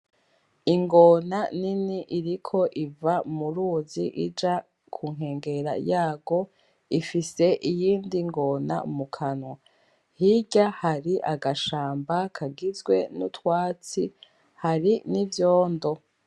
Ingona nini iriko iva mu ruzi ija ku nkengera yarwo ifise iyindi ngona mu kanwa. Hirya hari agashamba kagizwe n'utwatsi hari n'ivyondo.